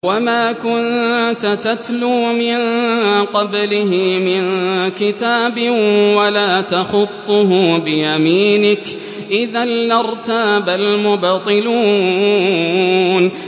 وَمَا كُنتَ تَتْلُو مِن قَبْلِهِ مِن كِتَابٍ وَلَا تَخُطُّهُ بِيَمِينِكَ ۖ إِذًا لَّارْتَابَ الْمُبْطِلُونَ